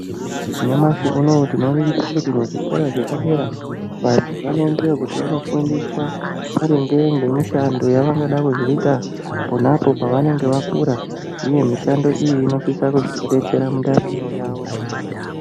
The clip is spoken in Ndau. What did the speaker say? Nyamashi unou tinoningira kuti zvikora zvepadera vantu vanoendayo kuti vandofundiswa maringe ngemishando yavangada kuzoita pona apo pavanenge vakura uye mishando iyi inosisa kuzovadetsera mundaramo yavo.